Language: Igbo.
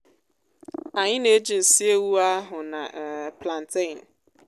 anyị nà éjị nsị ewụ áhù na um plantain